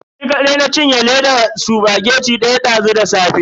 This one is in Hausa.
Ni kadai na cinye ledan spaghetti daya dazu da safe.